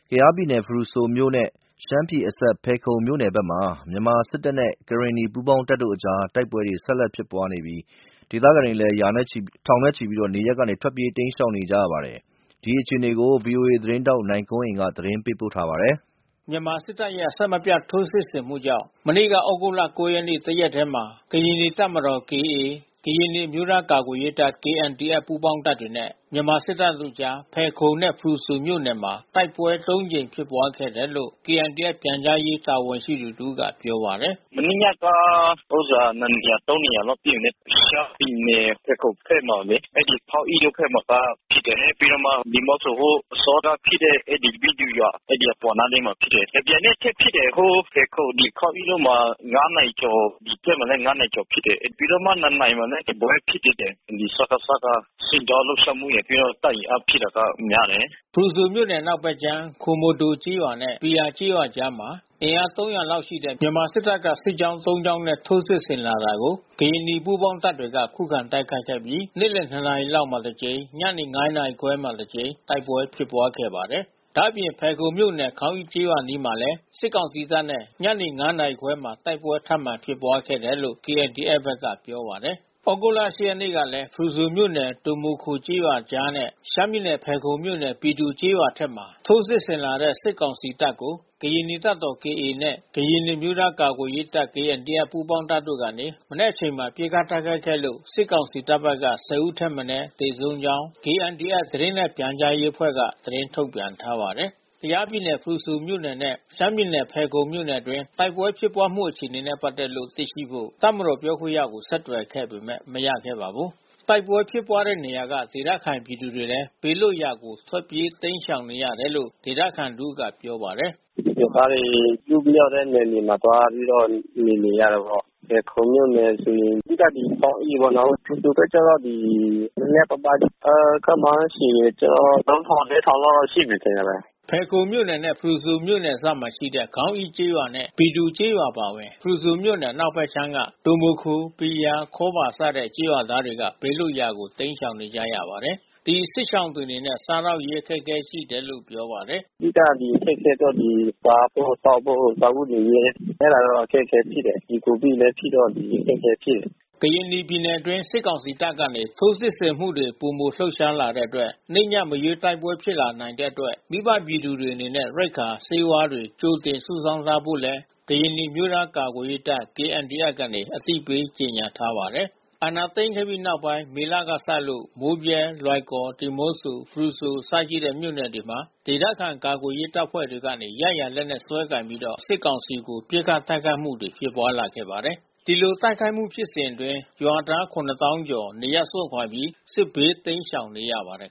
ကယားပြည်နယ်ဖရူဆိုမြို့နယ်နဲ့ ရှမ်းပြည်နယ်အစပ် ဖယ်ခုံမြို့နယ်ဘက်မှာ မြန်မာစစ်တပ်နဲ့ ကရင်နီ ပူးပေါင်းတပ်တို့အကြား တိုက်ပွဲ ဆက်ဖြစ်ပွားနေပြီး တိုက်ပွဲဖြစ်ရာဒေသခံထောင်နဲ့ချီလည်း နေရပ်ကနေတိမ်းရှောင်နေရပါတယ်။ ဒီအခြေအနေကို ဗွီအိုအေသတင်းထောက်နိုင်ကွန်းအိန်ကနေသတင်းပေးပို့ထားပါတယ်။ မြန်မာစစ်တပ်ရဲ့ အဆက်မပြတ် ထိုးစစ်ဆင်မှုကြောင့် မနေ့ကဩဂုတ် ၉ ရက်နေ့ တရက်တည်းမှာ ကရင်နီတပ်မတော် (KA)၊ ကရင်နီအမျိုးသားကာကွယ်ရေးတပ် (KNDF) ပူးပေါင်းတပ်နဲ့ မြန်မာစစ်တပ်တို့အကြား တိုက်ပွဲ ၃ ကြိမ်ဖြစ်ပွားခဲ့တယ်လို့ KNDF ပြန်ကြားရေးတာဝန်ရှိသူတဦးကပြောပါတယ်။ “မနေ့ညက နှစ်နေရာ သုံးနေရာလောက်ပစ်တယ်လေ။ ရှမ်းပြည်နယ်ဖယ်ခုံဘက်မှာလေ အဲဒီခေါင်းအိတို့ဘက်မှာကဖြစ်တယ်။ ပြီးတော့မှ ဒီုမိုခို ဟိုအစောက ဖြစ်တဲ့ဘီသူရွာ အဲဒီအပေါ်နားလေးမှာဖြစ်တယ်။ တမြိုင်နက်ထဲဖြစ်တယ်။ ဟိုဖယ်ခုံခေါင်းအိဘက်မှာ (၅)နာရီကျော် ဒီဘက်မှာလဲ(၅)နာရီကျော်ဖြစ်တယ်လေ။ ပြီးတော့မှ(၂)နာရီမှာလဲတပွဲဖြစ်သေးတယ်။ စကစက စစ်ကြောင်း လှုပ် ရှားမှုရယ် တပ်အင်အားဖြည့်တာကများတယ်။ ” ဖရူဆိုမြို့နယ် အနောက်ဘက်ခြမ်း ဒိုမိုခိုကျေးရွာနဲ့ ဘီယာကျေးရွာအကြားမှာ အင်အား ၃၀၀ လောက်ရှိတဲ့ မြန်မာစစ်တပ်ကစစ်ကြောင်း ၃ ကြောင်းနဲ့ ထိုးစစ်ဆင်လာတာကို ကရင်နီ ပူးပေါင်းတပ်တွေက ခုခံတိုက်ခိုက်ခဲ့ပြီး နေ့လယ် ၂ နာရီလောက်မှာ တစ်ကြိမ်၊ ညနေ ၅ နာရီခွဲမှာ တစ်ကြိမ် တိုက်ပွဲဖြစ်ပွားခဲ့ပါတယ်။ ဒါ့အပြင် ဖယ်ခုံမြို့နယ် ခေါင်းအိကျေးရွာအနီးမှာလဲ စစ်ကောင်စီတပ်နဲ့ ညနေ ၅ နာရီခွဲမှာ တိုက်ပွဲ ထပ်မံဖြစ်ပွားခဲ့တယ်လို့ KNDF က ပြောပါတယ်။ ဩဂုတ်လ ၈ ရက်နေ့ကလည်း ဖရူဆိုမြို့နယ်၊ ဒိုမိုခိုကျေးရွာအကြားနဲ့ ရှမ်းပြည်နယ်ဖယ်ခုံမြို့နယ် ဘီသူကျေးရွာအထက်မှာ ထိုး စစ်ဆင်လာတဲ့ စစ်ကောင်စီတပ်ကို ကရင်နီတပ်မတော်(KA)နဲ့ ကရင်နီအမျိုးသားကာကွယ်ရေးတပ် (KNDF) ပူးပေါင်းတပ် ကနေ နံနက်အချိန်မှာ ပစ်ခတ်တိုက်ခိုက်ခဲ့လို့ စစ်ကောင်စီတပ် ၁၀ ဦးထက်မနည်း သေဆုံးကြောင်း KNDF သတင်းနှင့်ပြန်ကြားရေး အဖွဲ့က သတင်းထုတ်ပြန်ထားပါတယ်။ ကယားပြည်နယ်ဖရူဆိုမြို့နယ်နဲ့ ရှမ်းပြည်နယ်ဖယ်ခုံမြို့နယ်အတွင်းတိုက်ပွဲဖြစ်ပွါးမှုအခြေအနေနဲ့ပက်သက်လို့ သိရှိဖို့ တပ်မတော်ပြောခွင့်ရကိုဆက်သွယ်ခဲ့ပေမဲ့ မရခဲ့ပါဘူး။ တိုက်ပွဲဖြစ်ပွားတဲ့နေရာကဒေသခံပြည်သူတွေလည်း ဘေးလွှတ်ရာကို ထွက်ပြေးတိမ်းရှောင်နေကြရတယ်လို့ ဒေသခံတဦးက ပြောပါတယ်။ “ ရွာသားတွေ ပစ်မရတဲ့နယ်မြေမှာ သွားပြီးတော့ နေနေရတာပေါ့။ ဖယ်ခုံမြို့နယ်ဆိုရင် အဓိကဒီခေါင်းအိပေါ့နော်။ ဖရူဆိုဘက်က တော့ နဲနဲပါးပါး။ ခန့်မှန်းခြေကတော့ (၃၀၀၀) (၄၀၀၀)ရှိမယ်ထင်ပါတယ်။” ဖယ်ခုံမြို့နယ်နဲ့ ဖရူဆိုမြို့နယ် နယ်စပ်မှာရှိတဲ့ ခေါင်းအိကျေးရွာနဲ့ဘီသူကျေးရွာအပါအဝင် ဖရူဆိုမြို့နယ်အနောက်ဖက်ခြမ်းမှ ဒိုမိုခို၊ ဘီယာ၊ ခေါဘာ စတဲ့ ကျေးရွာသားတွေက ဘေးလွတ်ရာကို တိမ်းရှောင်နေကြရပါတယ်။ ဒီစစ်ရှောင်တွေအနေနဲ့ စားသောက်ရေးအခက်ခဲရှိနေတယ်လို့ပြောပါတယ်။ “ အဓိက ဒီအခက်ခဲက စားဖို့သောက်ဖို့ စားဝတ်နေရေးက အဲတာတော့အခက်ခဲဖြစ်တယ်။ ဒီကိုဗစ်လဲဖြစ်တော့ အခက်ခဲဖြစ် တယ်။” ကရင်နီပြည်နယ်အတွင်း စစ်ကောင်စီတပ်ကနေ ထိုးစစ်ဆင်မှုတွေ ပိုမိုလှုပ်ရှားလာတဲ့အတွက် နေ့၊ည မရွေး တိုက်ပွဲဖြစ်ပွား လာ နိုင်တဲ့အတွက် မိဘပြည်သူတွေအနေနဲ့ ရိက္ခာ၊ ဆေးဝါးတွေ ကြိုတင်စုဆောင်းထားဖို့လည်း ကရင်နီအမျိုးသားကာကွယ်ရေးတပ် KNDF က အသိပေးကြေညာထားပါတယ်။ မြန်မာစစ်တပ်က အာဏာသိမ်းခဲ့ပြီးနောက်ပိုင်း မေလကစလို့ မိုးဗြဲ၊ လွိုင်ကော်၊ ဒီမော့ဆို ဖရူဆိုအစရှိတဲ့မြို့ နယ်တွေမှာ ဒေသ ခံကာကွယ်ရေးတပ်ဖွဲ့ တွေကနေ ရရာလက်နက်စွဲကိုင်ပြီးတော့ စစ်ကောင်စီတပ်ကို ပစ်ခတ်တိုက်ခိုက်မှု တွေဖြစ်ပွါးလာခဲ့ ပါတယ်။ ဒီလိုတိုက်ခိုက်မှုဖြစ်စဉ်အတွင်း ရွာသား(၇)သောင်းကျော် နေရပ်စွန့်ခွါပြီး စစ်ဘေးတိမ်းရှောင်နေရပါတယ်